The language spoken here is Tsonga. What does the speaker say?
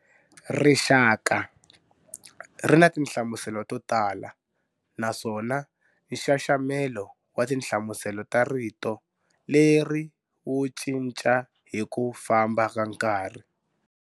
"Rixaka" ri na tinhlamuselo to tala naswona nxaxamelo wa tinhlamuselo ta rito leri wu cinca hi ku famba ka nkarhi.